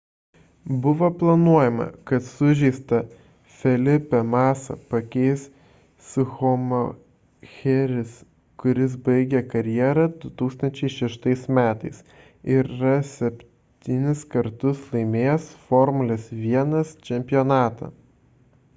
buvo planuojama kad sužeistą felipe massa pakeis schumacheris kuris baigė karjerą 2006 m ir yra septynis kartus laimėjęs formulės 1 čempionatą